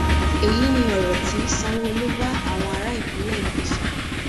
èyí ni ọrọ tí sanwóolu bá àwọn ará ìpínlẹ èkó sọ